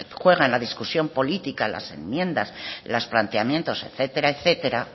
juega en la discusión política las enmiendas los planteamientos etcétera